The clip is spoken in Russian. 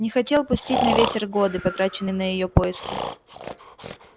не хотел пустить на ветер годы потраченные на её поиски